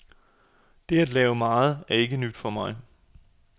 Det at lave meget er ikke noget nyt for mig.